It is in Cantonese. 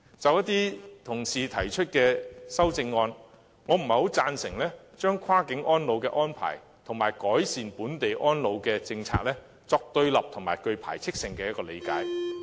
就一些同事提出的修正案，我不贊成將跨境安老的安排及改善本地安老的政策，作對立及具排斥性的理解。